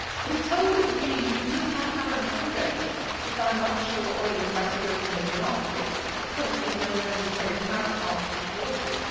We are told that the EU does not have a mandate to ban offshore oil and gas drilling in the Arctic, as currently no Member State has Arctic waters.